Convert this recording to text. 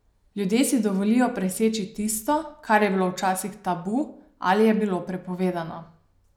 Ljudje si dovolijo preseči tisto, kar je bilo včasih tabu ali je bilo prepovedano.